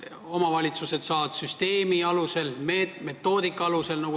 Omavalitsused saavad sealt raha süsteemi alusel, metoodika alusel.